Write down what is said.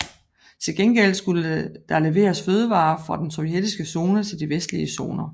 Til gengæld skulle der leveres fødevarer fra den sovjetiske zone til de vestlige zoner